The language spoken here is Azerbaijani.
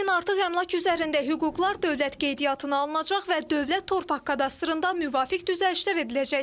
Lakin artıq əmlak üzərində hüquqlar dövlət qeydiyyatına alınacaq və dövlət torpaq kadastrında müvafiq düzəlişlər ediləcək.